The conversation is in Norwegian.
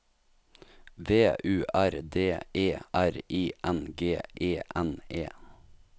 V U R D E R I N G E N E